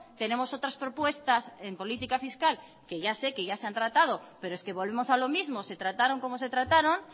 tenemos otras propuestas en política fiscal que ya sé que ya se han tratado pero es que volvemos a lo mismo se trataron como se trataron